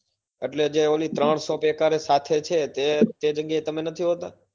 એટલે જે ઓલી ત્રણ shop સાથે છે તે તે જગ્યા એ તમે નથી હોતા